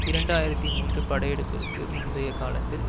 இரண்டு ஆயிரத்தி மூன்று படையெடுப்பிற்கு முந்திய காலத்தில்